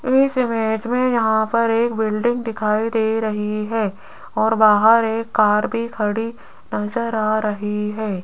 इस इमेज में यहां पर एक बिल्डिंग दिखाई दे रही है और बाहर एक कार भी खड़ी नजर आ रही है।